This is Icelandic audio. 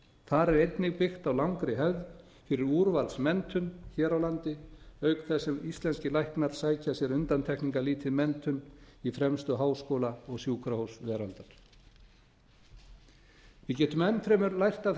þar er einnig byggt á langri hefð fyrir úrvalsmenntun hér á landi auk þess sem íslenskir læknar sækja sér undantekningarlítið menntun í fremstu háskóla og sjúkrahús veraldar við getum enn fremur lært af